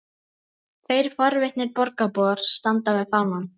Tveir forvitnir borgarbúar standa við fánann.